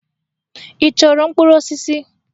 Ị chọrọ mkpụrụ osisi?